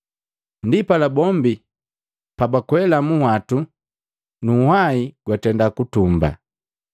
Ndipala bombi pabakwela munhwatu nu nhwai gwatenda kutumbaa.